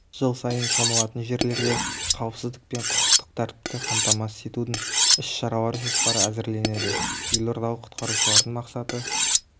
жыл сайын шомылатын жерлерде қауіпсіздік пен құқықтық тәртіпті қамтамасыз етудің іс-шаралар жоспары әзірленеді елордалық құтқарушылардың мақсаты